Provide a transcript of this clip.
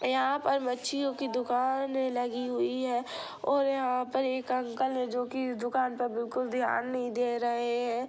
यह पर मच्चईओ की दुकान लगी हुई है| और यह पर एक अंकल है जो की दुकान पे बिल्कुल धियाँ नहीं दे रहे है।